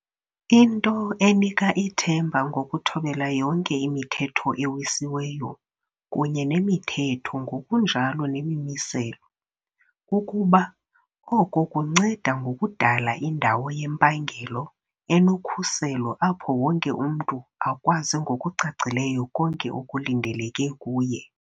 Into enika ithemba ngokuthobela yonke imithetho ewisiweyo kunye nemithetho ngokunjalo nemimiselo, kukuba oko kunceda ngokudala indawo yempangelo enokhuselo apho wonke umntu akwazi ngokucacileyo konke okulindeleke kuye.